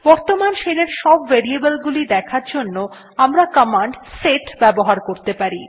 বর্তমান শেল এর সব ভ্যারিয়েবলস দেখার জন্য আমরা কমান্ড সেট ব্যবহার করতে পারি